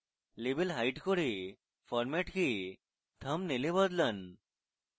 label hide করে format কে thumbnail we বদলান